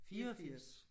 84